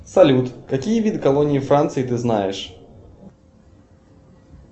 салют какие виды колонии франции ты знаешь